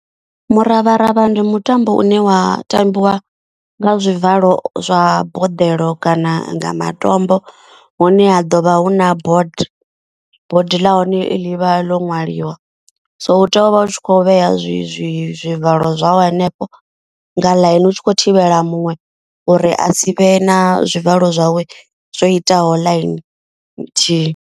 Muravharavha ndi mutambo une wa tambiwa nga zwivalo zwa boḓelo kana nga matombo. Hune ha ḓovha hu na board, board ḽa hone ḽi vha ḽo ṅwaliwa so u tea u vha u tshi kho vhea zwi zwivalo zwau hanefho nga ḽaini. U tshi khou thivhela muṅwe uri a si vhe na zwivalo zwawe zwo itaho ḽaini nthihi.